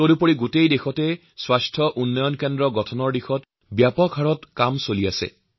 তদুপৰি সমগ্ৰ দেশত স্বাস্থ্যৰ আৰোগ্য কেন্দ্ৰ স্থাপন কৰাৰ দিশত জোৰদাৰ গতি কাম কৰা হৈছে